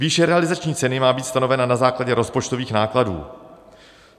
Výše realizační ceny má být stanovena na základě rozpočtových nákladů.